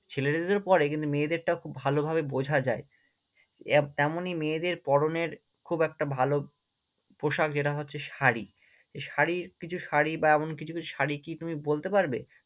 ছেলেদেরও পড়ে কিন্তু মেয়েদেরটা খুব ভালোভাবে বোঝা যায় এমনই মেয়েদের পরনের খুব একটা ভালো পোশাক যেটা হচ্ছে শাড়ি, এই শাড়ির কিছু শাড়ি বা এমন কিছু কিছু শাড়ি কি তুমি বলতে পারবে?